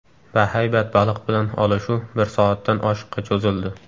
Bahaybat baliq bilan olishuv bir soatdan oshiqqa cho‘zildi.